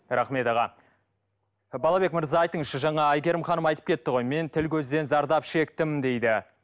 рахмет аға балабек мырза айтыңызшы жаңа әйгерім ханым айтып кетті ғой мен тіл көзден зардап шектім дейді